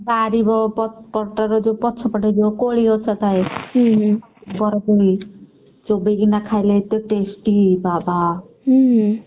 ବାରି ବ~ ପ~ ପଟର ଯୋଉ ପଛପଟେ ଯୋଉ କୋଳିଗଛ ଥାଏ ବରକୋଳି ଚୋବେଇକିନା ଖାଇଲେ ଏତେ tasty ବାବା!